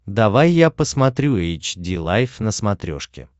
давай я посмотрю эйч ди лайф на смотрешке